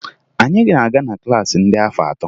Anyị na-aga na klaasị ndị afọ atọ